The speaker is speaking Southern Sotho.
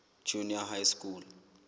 junior high school